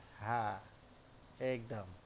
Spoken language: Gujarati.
હા એકદમ